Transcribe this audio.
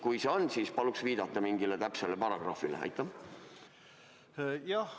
Kui see on, siis paluks viidata mingile täpsele paragrahvile!